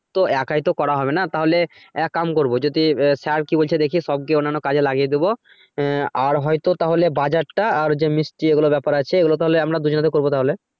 তো একাই তো করা হবে না তাহলে এক কাম করব যদি sir কি বলছে দেখে সবকে অন্যান্য কাজে লাগিয়ে দিবো। আহ আর হয়তো তাহলে বাজার টা আর যে মিষ্টি এগুলো ব্যাপার আছে এগুলো তাহলে আমরা দুজনে করবে তাহলে।